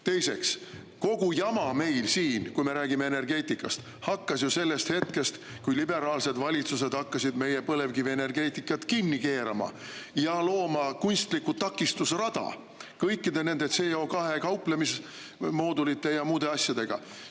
Teiseks, kogu jama meil siin, kui me räägime energeetikast, hakkas ju sellest hetkest, kui liberaalsed valitsused hakkasid põlevkivienergeetikat kinni keerama ja looma kunstlikku takistusrada kõikide nende CO2‑ga kauplemise moodulite ja muude asjadega.